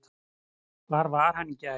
Hvar var hann í gær?